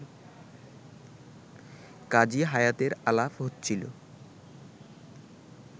কাজী হায়াতের আলাপ হচ্ছিল